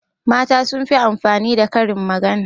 mata sun fi amfani da Karin magana